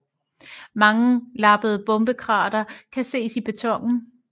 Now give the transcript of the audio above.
Mange lappede bombekrater kan ses i betonen